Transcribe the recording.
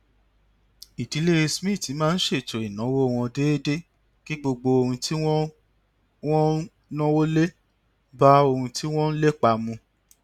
ìdílé smith máa ń ṣètò ìnáwó wọn déédéé kí gbogbo ohun tí wọn ń wọn ń náwó lé bá ohun tí wọn ń lépa mu